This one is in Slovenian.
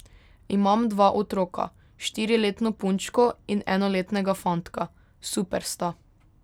Imam dva otroka, štiriletno punčko in enoletnega fantka, super sta.